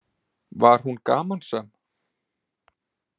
Var hún gamansöm?